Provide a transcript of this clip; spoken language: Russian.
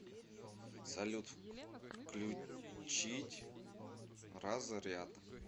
салют включить разряд